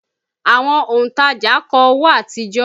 Àwọn òntajà kọ owó àtijọ́